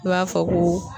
I b'a fɔ ko